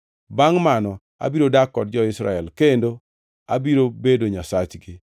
Bangʼ mano abiro dak kod jo-Israel kendo abiro bedo Nyasachgi.